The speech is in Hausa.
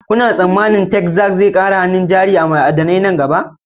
Kuna tsammanin Texas zai iya ƙara saka hannun jari a ayyukan ma'adanai nan gaba?